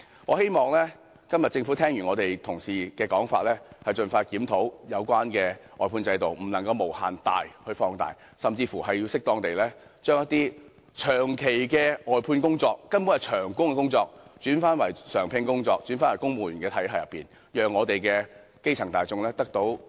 我希望今天政府聽罷我們同事的發言後，會盡快檢討有關外判制度，不能將其無限放大，甚至應適當地將一些長期外判、根本屬長工的工作轉為常聘工種，重返公務員體系，讓我們的基層大眾得以分享經濟成果。